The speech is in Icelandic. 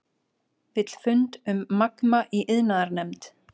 Vill fund um Magma í iðnaðarnefnd